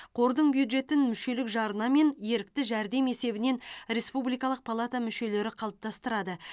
қордың бюджетін мүшелік жарна мен ерікті жәрдем есебінен республикалық палата мүшелері қалыптастырады